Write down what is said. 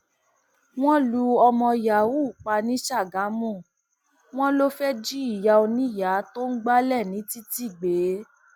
wọn lu ọmọ yahoo pa ní sàgámù wọn lọ fẹẹ jí ìyá oníyàá tó ń gbalé ní títì gbé